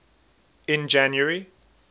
in january